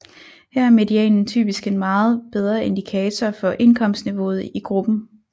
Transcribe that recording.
Her er medianen typisk en meget bedre indikator for indkomstniveauet i gruppen